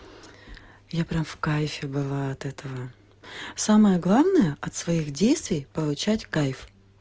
я прям в кайфе была от этого самое главное от своих действий получать кайф